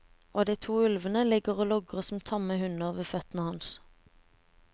Og de to ulvene ligger og logrer som tamme hunder ved føttene hans.